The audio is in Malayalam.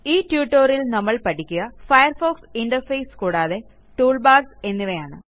ഈ tutorialൽ നമ്മൾ പഠിക്കുക ഫയർഫോക്സ് ഇന്റർഫേസ് ടൂൾബാർസ് എന്നിവയാണ്